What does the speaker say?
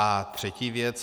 A třetí věc.